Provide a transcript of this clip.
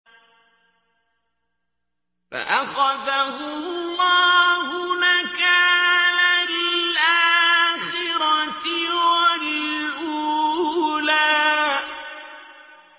فَأَخَذَهُ اللَّهُ نَكَالَ الْآخِرَةِ وَالْأُولَىٰ